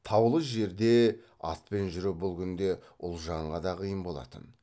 таулы жерде атпен жүру бұл күнде ұлжанға да қиын болатын